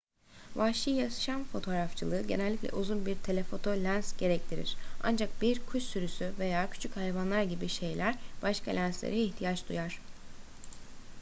vahşi yaşam fotoğrafçılığı genellikle uzun bir telefoto lens gerektirir ancak bir kuş sürüsü veya küçük hayvanlar gibi şeyler başka lenslere ihtiyaç duyar